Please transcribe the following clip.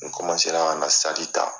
N ra ka na saki ta.